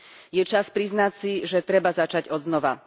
Je čas priznať si, že treba začať odznova.